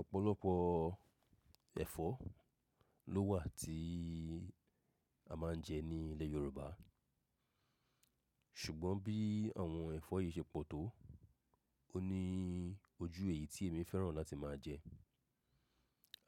Ọ̀pọ̀lọpọ̀ ẹ̀fọ́ ló wà tí a máa ń jẹ ní ilẹ̀ Yorùbá, ṣùgbọ́n bí àwọn ẹ̀fọ́ yìí ṣe pọ̀ tó, ó ní ojú èyí tí èmi fẹ́ràn láti máa jẹ.